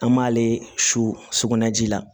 An m'ale su sukunɛ ji la